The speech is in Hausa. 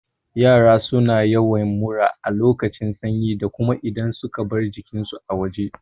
Yara suna yawan mura a lokacin sanyi da kuma idan suka bar jikin su a waje